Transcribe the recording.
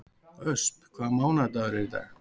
Ösp, hvaða mánaðardagur er í dag?